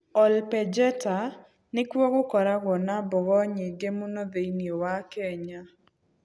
Ol Pejeta nĩ kuo gũkoragwo na mbogo nyingĩ mũno thĩinĩ wa Kenya.